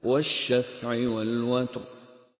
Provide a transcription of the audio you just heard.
وَالشَّفْعِ وَالْوَتْرِ